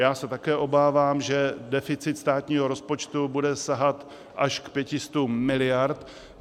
Já se také obávám, že deficit státního rozpočtu bude sahat až k 500 miliardám.